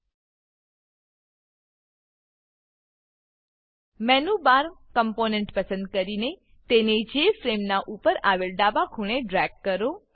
menu bar menu bar component પસંદ કરીને તેને જેએફઆરએમઈ જેફ્રેમ નાં ઉપર આવેલ ડાબા ખૂણે ડ્રેગ કરો